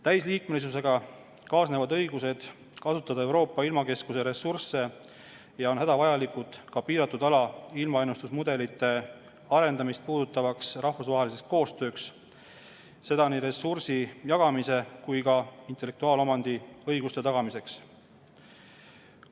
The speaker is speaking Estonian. Täisliikmesusega kaasnevad õigused kasutada Euroopa ilmakeskuse ressursse ja need on hädavajalikud ka piiratud ala ilmaennustusmudelite arendamist puudutavaks rahvusvaheliseks koostööks – seda nii ressursi jagamise kui ka intellektuaalomandi õiguste tagamiseks.